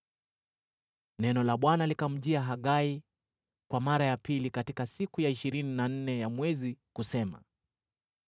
Neno la Bwana likamjia Hagai kwa mara ya pili katika siku ya ishirini na nne ya mwezi kusema: